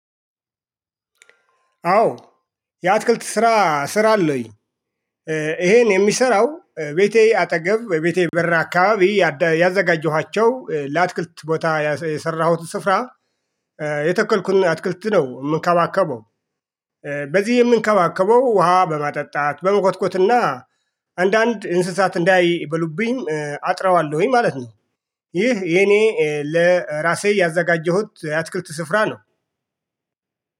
አዎ የአትክልት ስራ እሰራለሁኝ። ይሄን የምሰራው ቤቴ አጠገብ በቤቴ በር አካባቢ ያዘጋጀኋቸው ላትክልት ቦታ የሰራሁት ስፍራ የተከልኩኝ አትክልት ነው የምንከባከበው። በዚህ የምንከባከበው ውሃ በማጣት፣ በምኮትኮትና አንዳንድ እንስሳት እንዳይ በሉብኝ አጥረዋለሁኝ ማለት ነው። ይህ የኔ ለራሴ ያዘጋጀሁት የአትክርት ስፍራ ነው።